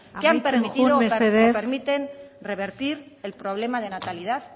que han permitido amaitzen joan mesedez si me lo permiten revertir el problema de natalidad